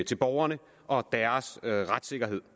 til borgerne og deres retssikkerhed